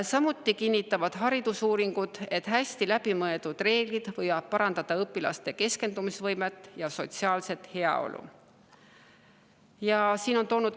Samuti kinnitavad haridusuuringud, et hästi läbimõeldud reeglid võivad parandada õpilaste keskendumisvõimet ja sotsiaalset heaolu.